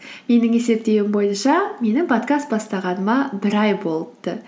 менің есептеуім бойынша менің подкаст бастағаныма бір ай болыпты